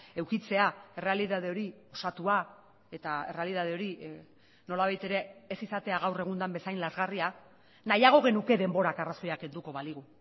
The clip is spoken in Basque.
edukitzea errealitate hori osatua eta errealitate hori nolabait ere ez izatea gaur egun den bezain lazgarria nahiago genuke denborak arrazoia kenduko baligu